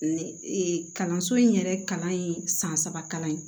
kalanso in yɛrɛ kalan ye san saba kalan ye